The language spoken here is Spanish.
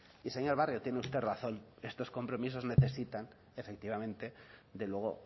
y señor barrio tiene usted razón estos compromisos necesitan efectivamente de luego